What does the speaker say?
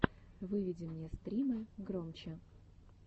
выведи мне стримы громчи